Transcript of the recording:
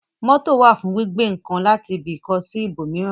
Mótò wà fún gbígbé ǹkan láti ibi kan sí ibò míràn